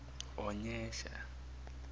onyesha